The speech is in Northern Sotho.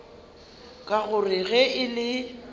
ka gore ge e le